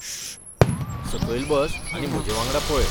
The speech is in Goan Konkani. शू...! सकयल बस आनी म्हजेवांगडा पळय